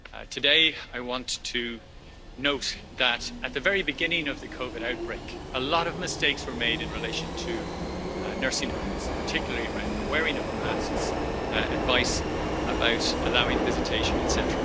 Today, I want to note that at the very beginning of the COVID outbreak, a lot of mistakes were made in relation to nursing homes, particularly around the wearing of masks, advice about allowing visitation, etc.